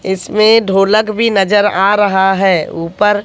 इसमें ढोलक भी नजर आ रहा है ऊपर--